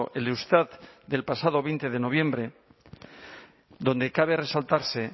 el eustat del pasado veinte de noviembre donde cabe resaltarse